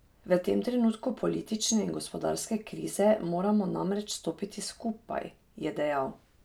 V tem trenutku politične in gospodarske krize moramo namreč stopiti skupaj, je dejal.